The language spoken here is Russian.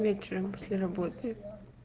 вечером после работы